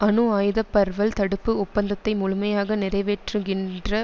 அணு ஆயுத பர்வல் தடுப்பு ஒப்பந்தத்தை முழுமையாக நிறைவேற்றுகின்ற